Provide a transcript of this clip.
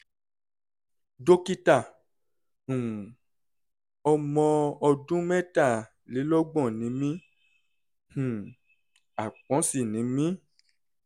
dókítà um ọmọ ọdún mẹ́tàlélọ́gbọ̀n ni mí um àpọ́n sì ni mí